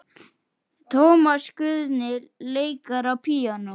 Tómas Guðni leikur á píanó.